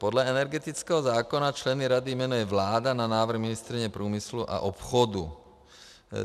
Podle energetického zákona členy rady jmenuje vláda na návrh ministryně průmyslu a obchodu.